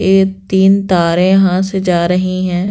ये तीन तारे यहां से जा रही हैं।